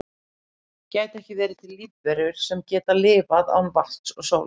gætu ekki verið til lífverur sem geta lifað án vatns og sólar